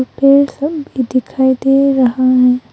पेड़ सब भी दिखाई दे रहा है।